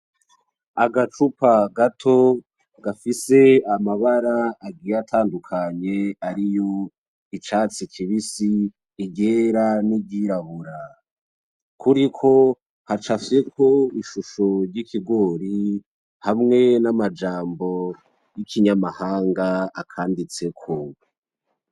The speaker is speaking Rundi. Agacupa gato gafise amabara agiye atandukanye ariyo icatsi kibisi, iryera n'iryirabura. Kuriko hacapyeko ishusho ry'ikigori hamwe n'amajambo y'ikinyamahanga akanditseko.